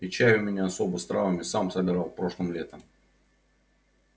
и чай у меня особый с травами сам собирал прошлым летом